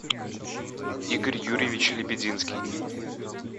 игорь юрьевич лебединский